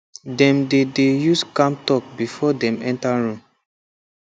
dem dey dey use calm talk before dem enter room